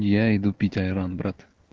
я иду пить айран брат